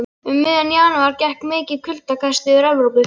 Um miðjan janúar gekk mikið kuldakast yfir Evrópu.